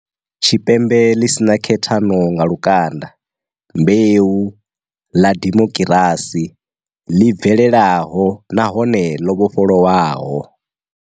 Tshipembe ḽi si na khethano nga lukanda, mbeu, ḽa dimokirasi, ḽi bvelelaho nahone ḽo vhofholowaho.